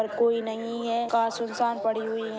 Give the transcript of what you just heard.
और कोई नही है कार सुनसान पड़ी हुए है।